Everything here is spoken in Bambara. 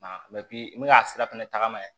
i bɛna sira fɛnɛ tagama ye